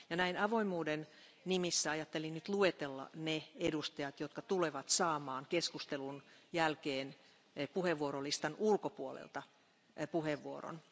Näin avoimuuden nimissä ajattelin nyt luetella ne jäsenet, jotka tulevat saamaan keskustelun jälkeen puheenvuorolistan ulkopuolelta puheevuoron.